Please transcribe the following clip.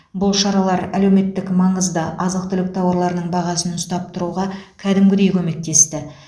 бұл шаралар әлеуметтік маңызды азық түлік тауарларының бағасын ұстап тұруға кәдімгідей көмектесті